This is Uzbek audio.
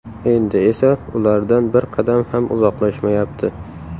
Endi esa ulardan bir qadam ham uzoqlashmayapti .